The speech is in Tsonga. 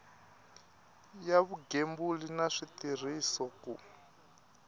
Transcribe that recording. ya vugembuli na switirhiso ku